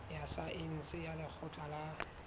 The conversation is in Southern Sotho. ya saense ya lekgotleng la